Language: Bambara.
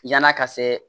Yann'a ka se